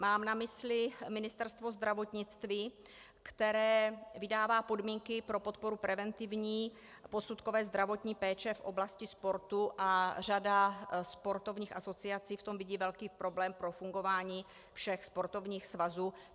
Mám na mysli Ministerstvo zdravotnictví, které vydává podmínky pro podporu preventivní posudkové zdravotní péče v oblasti sportu, a řada sportovních asociací v tom vidí velký problém pro fungování všech sportovních svazů.